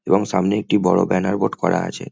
এবং সামনে একটি বড় ব্যানার বোর্ড করা আছে।